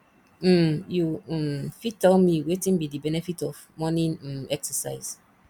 um you um fit tell me wetin be di benefit of morning um exercise